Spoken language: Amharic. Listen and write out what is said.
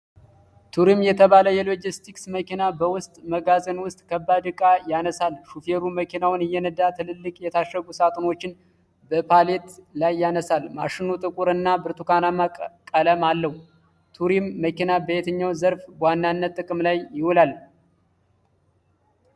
ቱሪም የተባለ የሎጅስቲክስ መኪና በውስጥ መጋዘን ውስጥ ከባድ ዕቃ ያነሳል። ሹፌሩ መኪናውን እየነዳ ትልልቅ የታሸጉ ሳጥኖችን በፓሌት ላይ ያነሳል። ማሽኑ ጥቁር እና ብርቱካናማ ቀለም አለው። ቱሪም መኪና በየትኛው ዘርፍ በዋነኛነት ጥቅም ላይ ይውላል?